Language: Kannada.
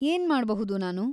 ಏನ್ಮಾಡ್ಬಹುದು ನಾನು?